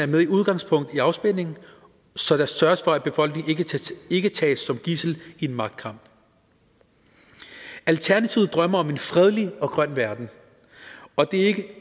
med udgangspunkt i afspænding så der sørges for at befolkningen ikke tages som gidsel i en magtkamp alternativet drømmer om en fredelig og grøn verden og det